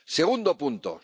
segundo punto